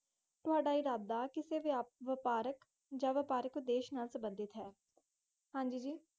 ਥੁੜਾਂ ਇਰਾਦਾ ਇਕਸੇ ਵਪਾਰਕ ਜਾ ਕੀਤੀ ਵਪਾਰਕ ਦਿੱਖ ਨਾਲ ਸੰਬੰਦੀਦ ਹੈ